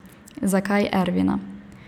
Zakaj Ervina?